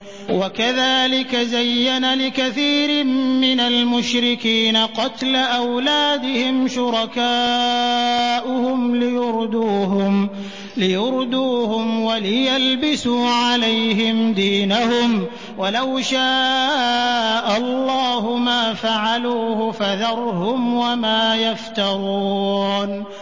وَكَذَٰلِكَ زَيَّنَ لِكَثِيرٍ مِّنَ الْمُشْرِكِينَ قَتْلَ أَوْلَادِهِمْ شُرَكَاؤُهُمْ لِيُرْدُوهُمْ وَلِيَلْبِسُوا عَلَيْهِمْ دِينَهُمْ ۖ وَلَوْ شَاءَ اللَّهُ مَا فَعَلُوهُ ۖ فَذَرْهُمْ وَمَا يَفْتَرُونَ